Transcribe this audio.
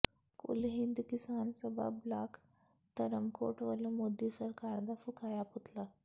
ਕੁਲ ਹਿੰਦ ਕਿਸਾਨ ਸਭਾ ਬਲਾਕ ਧਰਮਕੋਟ ਵਲੋਂ ਮੋਦੀ ਸਰਕਾਰ ਦਾ ਫੂਕਿਆ ਪੁਤਲਾ